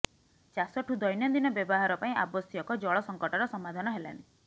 ଚାଷଠୁ ଦୈନନ୍ଦିନ ବ୍ୟବହାର ପାଇଁ ଆବଶ୍ୟକ ଜଳ ସଂକଟର ସମାଧାନ ହେଲାନି